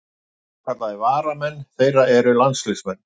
Jafnvel svokallaðir varamenn þeirra eru landsliðsmenn.